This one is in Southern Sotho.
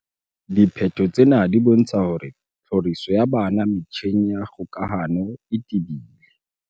"Diphetho tsena di bontsha hore tlhoriso ya bana metjheng ya kgokahano e tebile."